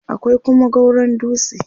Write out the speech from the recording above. akwai Kuma gauron dutse